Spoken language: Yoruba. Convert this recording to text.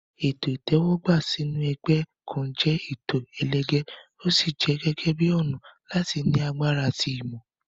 Ètò ìtẹ́wọ́gbà sínú ẹgbẹ́ kan jẹ́ ètò ẹlẹgẹ́, ó sì jẹ gẹ́gẹ́ bíi ọ̀nà láti ní agbára ẹ̀mí àti ìmọ̀.